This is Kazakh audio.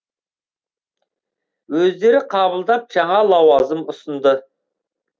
өздері қабылдап жаңа лауазым ұсынды